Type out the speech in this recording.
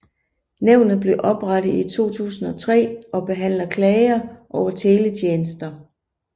Nævnet blev oprettet i 2003 og behandler klager over teletjenester